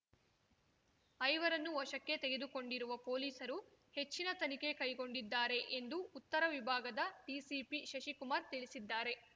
ಐವರನ್ನು ವಶಕ್ಕೆ ತೆಗೆದುಕೊಂಡಿರುವ ಪೊಲೀಸರು ಹೆಚ್ಚಿನ ತನಿಖೆ ಕೈಗೊಂಡಿದ್ದಾರೆ ಎಂದು ಉತ್ತರ ವಿಭಾಗದ ಡಿಸಿಪಿ ಶಶಿಕುಮಾರ್ ತಿಳಿಸಿದ್ದಾರೆ